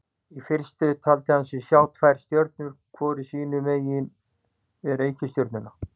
Í fyrstu taldi hann sig sjá tvær stjörnur hvor sínu megin við reikistjörnuna.